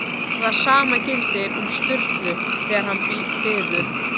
Og það sama gildir um Sturlu, þegar hann biður